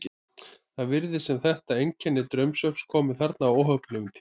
Það virðist sem þetta einkenni draumsvefns komi þarna á óheppilegum tíma.